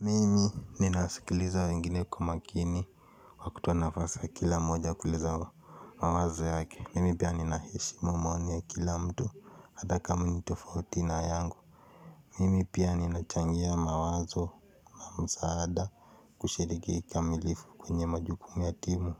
Mimi ninasikiliza wengine kwa makini, kwa kutoa nafasi ya kila mmoja kutoa maoni yake. Mimi pia ninaheshimu maoni ya kila mtu, hata kama ni tofauti na yangu. Mimi pia ninachangia mawazo na msaada, kushiriki kikamilifu kwenye majukumu ya timu,